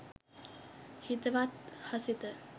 හිතවත් හසිත